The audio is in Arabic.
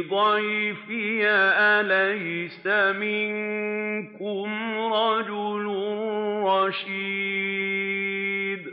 ضَيْفِي ۖ أَلَيْسَ مِنكُمْ رَجُلٌ رَّشِيدٌ